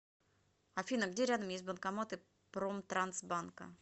афина где рядом есть банкоматы промтрансбанка